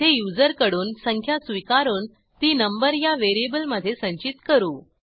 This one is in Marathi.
येथे युजरकडून संख्या स्वीकारून ती नंबर या व्हेरिएबलमधे संचित करू